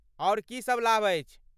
आओर की सभ लाभ अछि?